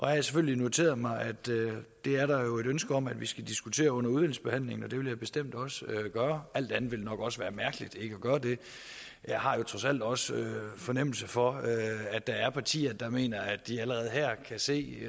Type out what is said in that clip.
har jeg selvfølgelig noteret mig at det er der et ønske om at vi skal diskutere under udvalgsbehandlingen og det vil jeg bestemt også gøre alt andet ville nok også være mærkeligt jeg har trods alt også fornemmelse for at der er partier der mener at de allerede her kan se